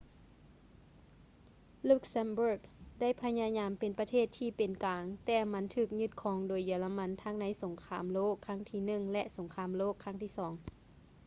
luxembourg ໄດ້ພະຍາຍາມເປັນປະເທດທີ່ເປັນກາງ ແຕ່ມັນຖືກຍຶດຄອງໂດຍເຢຍລະມັນທັງໃນສົງຄາມໂລກຄັ້ງທີໜຶ່ງ ແລະ ສົງຄາມໂລກຄັ້ງທີສອງ